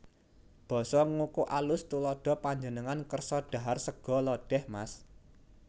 Basa Ngoko AlusTuladha Panjenengan kersa dhahar sega lodèh Mas